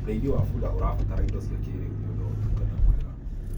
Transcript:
ũrĩithi wa bunda ũrabatara indo cia kĩiriu nĩũndũ wa utungata mwega